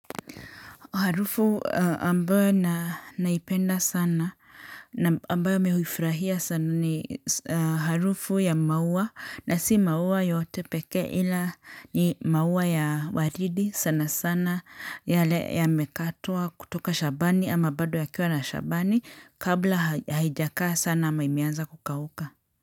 Harufu ambayo naipenda sana, na ambayo mihuifurahia sana ni harufu ya maua, na si maua yotepeke ila ni maua ya waridi sana sana, yale ya mekatwa kutoka shambani ama bado yakiwa na shambani kabla haijakaa sana ama imianza kukauka.